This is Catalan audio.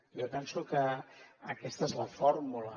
jo penso que aquesta és la fórmula